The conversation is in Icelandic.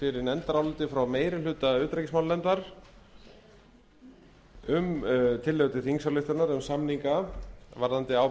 nefndaráliti frá meiri hluta utanríkismálanefndar um tillögu til þingsályktunar um samninga varðandi ábyrgð